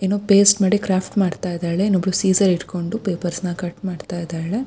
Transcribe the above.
ಏನೋ ಪೇಸ್ಟ್ ಮಾಡಿ ಕ್ರಾಫ್ಟ್ ಮಾಡ್ತಾ ಇದ್ದಾಳೆ ಇನ್ನೊಬ್ಬಳು ಸೇಸೆರ್ ಹಿಡ್ಕೊಂಡು ಪಪೆರ್ಸ್ನ್ ನ ಕಟ್ ಮಾಡ್ತಾ ಇದ್ದಾಳೆ--